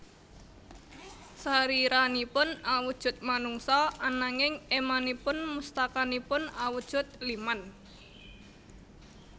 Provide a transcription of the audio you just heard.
Sariranipun awujud manungsa ananging émanipun mustakanipun awujud liman